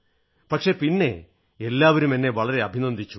പക്ഷേ പിന്നെ എന്നെ വളരെ അഭിനന്ദിച്ചു